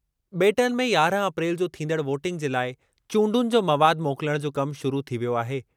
बे॒टनि में यारहं अप्रैल जो थींदड़ वोटिंग जे लाइ चूंडुनि जो मवाद मोकिलणु जो कम शुरू थी वियो आहे।